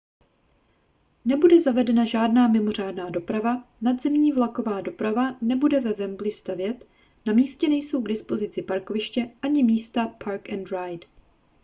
nebude zavedena žádná mimořádná doprava nadzemní vlaková doprava nebude ve wembley stavět na místě nejsou k dispozici parkoviště ani místa park-and-ride